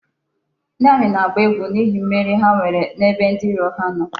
Ndi Ami na-agba egwu n'ihi mmeri ha nwere n'ebe ndi iro ha no